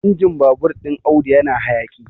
injin babur ɗin Audu yana hayaƙi